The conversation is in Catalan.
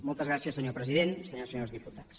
moltes gràcies senyor president senyores i senyors diputats